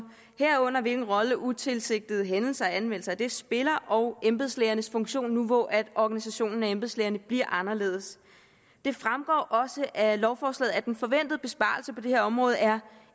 herunder hvilken rolle utilsigtede hændelser og anmeldelser af dem spiller og embedslægernes funktion nu hvor organisationen af embedslægerne bliver anderledes det fremgår også af lovforslaget at den forventede besparelse på det her område er